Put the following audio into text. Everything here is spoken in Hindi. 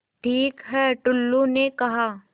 ठीक है टुल्लु ने कहा